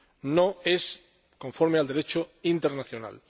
no es conforme al Derecho internacional.